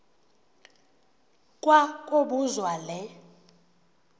kwa kobuzwa le